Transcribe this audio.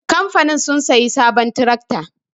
Kamfanin sun sayi sabon tirakta